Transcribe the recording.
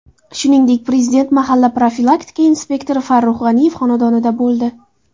Shuningdek, Prezident mahalla profilaktika inspektori Farruh G‘aniyev xonadonida bo‘ldi.